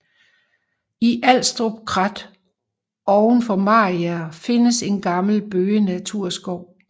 I Alstrup Krat oven for Mariager findes en gammel bøgenaturskov